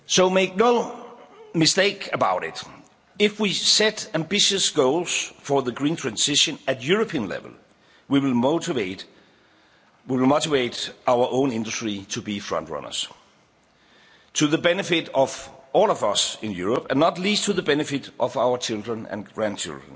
policy. Make no mistake about it if we set ambitious goals for the green transition at European level, we will motivate our own industry to be frontrunners to the benefit of all of us in Europe, and not least to the benefit of our children and grandchildren.